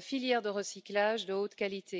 filières de recyclage de qualité.